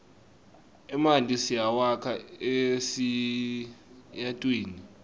emanti siwakha esiyatwini